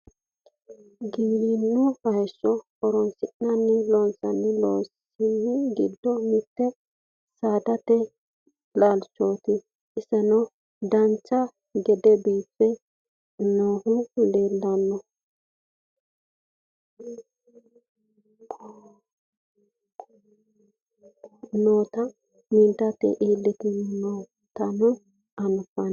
giwirinnu hayyo horonsi'ne loonsanni loossa giddo mitte sindete laalchooti isino dancha gede biife noohu laale nootanna midate iillanni noota anfanni